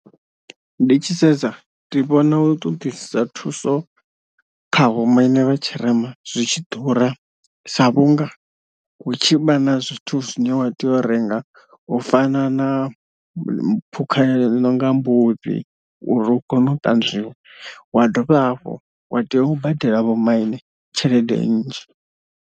Ndi tshi sedza ndi vhona u ṱoḓisisa thuso kha vho maine vha tshirema zwitshi ḓura sa vhunga hu tshi vha na zwithu zwine wa tea u renga u fana na phukha inonga Mbudzi uri u kone u ṱanzwiwa, wa dovha hafhu wa tea u badela vho maine tshelede nnzhi.